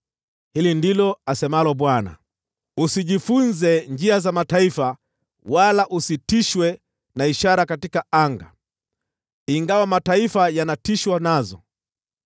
Hili ndilo asemalo Bwana : “Usijifunze njia za mataifa wala usitishwe na ishara katika anga, ingawa mataifa yanatishwa nazo.